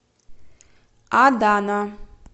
адана